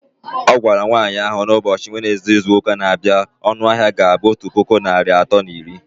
Ọ gwara nwanyị ahụ na ụbọchị Wenezde izuụka na-abịa, ọnụ ahịa ga-abụ otu puku naịra atọ na iri